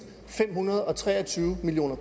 fem hundrede og tre og tyve million